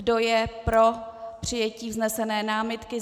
Kdo je pro přijetí vznesené námitky?